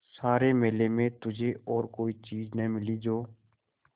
सारे मेले में तुझे और कोई चीज़ न मिली जो